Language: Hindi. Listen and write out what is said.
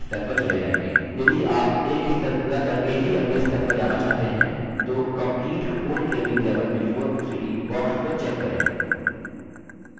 यदि आप एक स्तर पूरा करके ही अगले स्तर पर जाना चाहते हैं तो complete whole training level before proceeding box को check करें